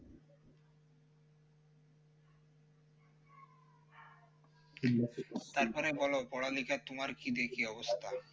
তারপরে বল পড়া লেখার তোমার কি দিয়ে কি অবস্থা